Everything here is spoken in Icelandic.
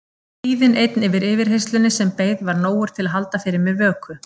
Kvíðinn einn fyrir yfirheyrslunni sem beið var nógur til að halda fyrir mér vöku.